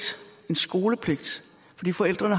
en skolepligt fordi forældrene